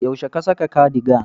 Yaushe ka saka cardigan?